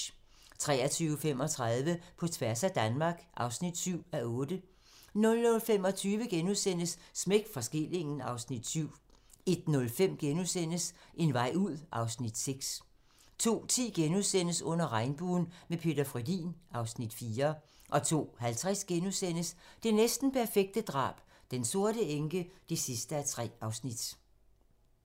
23:35: På tværs af Danmark (7:8) 00:25: Smæk for skillingen (Afs. 7)* 01:05: En vej ud (Afs. 6)* 02:10: Under regnbuen - med Peter Frödin (Afs. 4)* 02:50: Det næsten perfekte drab - Den sorte enke (3:3)*